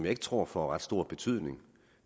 ikke tror får ret stor betydning